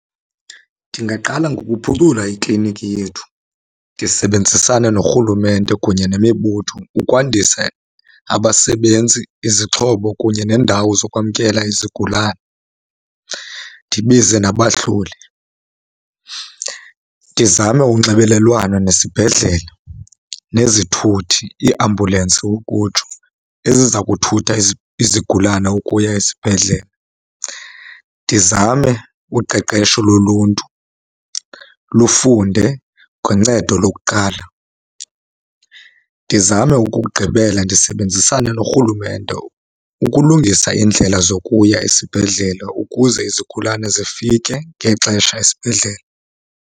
Ndingaqala ngokuphucula iklinikhi yethu. Ndisebenzisane norhulumente kunye nemibutho ukwandisa abasebenzi, izixhobo kunye neendawo zokwamkela izigulane, ndibize nabahloli. Ndizame unxibelelwano nesibhedlele nezithuthi, iiambulensi ukutsho, eziza kuthutha izigulane ukuya esibhedlele. Ndizame uqeqesho loluntu lufunde ngoncedo lokuqala. Ndizame okokugqibela ndisebenzisane norhulumente ukulungisa iindlela zokuya esibhedlele ukuze izigulane zifike ngexesha esibhedlele.